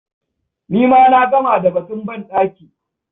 Ni ma na gama da batun banɗaki.